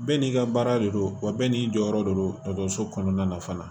Bɛɛ n'i ka baara de don wa bɛɛ n'i jɔyɔrɔ de don dɔgɔtɔrɔso kɔnɔna na fana